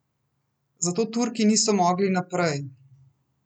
Zato Turki niso mogli naprej.